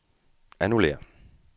annullér